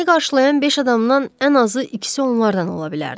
Məni qarşılayan beş adamdan ən azı ikisi onlardan ola bilərdi.